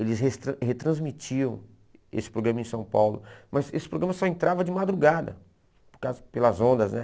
Eles restran retransmitiam esse programa em São Paulo, mas esse programa só entrava de madrugada, no caso pelas ondas, né?